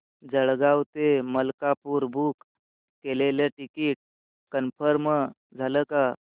जळगाव ते मलकापुर बुक केलेलं ticket confirm झालं का